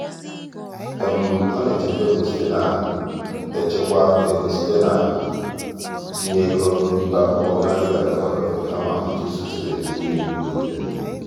ọ́ nà-èchékwá égó site nà-èchékwá égó site n’ítínye égó n’ìbè ákwụ́kwọ́ nà-adị́ghị́ ágafe ágafe kama ị́chụ́sò usoro ejiji mgbe nìile.